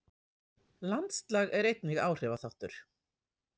Landslag er einnig áhrifaþáttur.